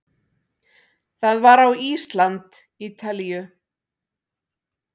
Það var á Ísland- Ítalíu